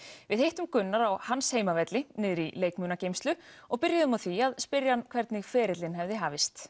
við hittum Gunnar á hans heimavelli niðri í leikmunageymslu og byrjuðum á því að spyrja hann hvernig ferillinn hefði hafist